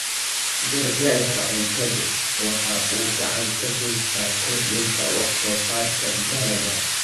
Gargaarka cuntadu waxa uu gacan ka geystaa kordhinta wax soo saarka dalagga.